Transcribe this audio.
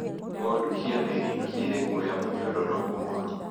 Ngondu cia merino cirĩ guoya mũnyororoku mũno.